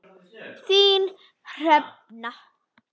Þín Hrefna.